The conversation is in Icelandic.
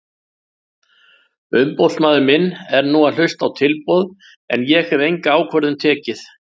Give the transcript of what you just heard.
Umboðsmaður minn er nú að hlusta á tilboð en ég hef enga ákvörðun tekið.